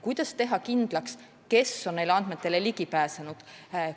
Kuidas teha kindlaks, kes on neile andmetele ligi pääsenud?